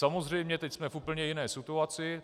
Samozřejmě, teď jsme v úplně jiné situaci.